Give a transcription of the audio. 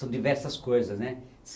São diversas coisas, né?